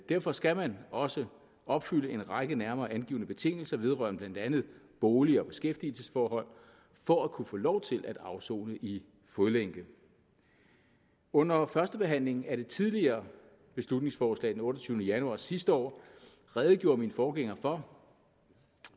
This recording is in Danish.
derfor skal man også opfylde en række nærmere angivne betingelser vedrørende blandt andet bolig og beskæftigelsesforhold for at kunne få lov til at afsone i fodlænke under førstebehandlingen af det tidligere beslutningsforslag den otteogtyvende januar sidste år redegjorde min forgænger for